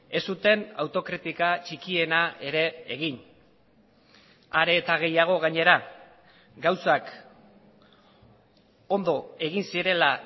ez zuten autokritika txikiena ere egin are eta gehiago gainera gauzak ondo egin zirela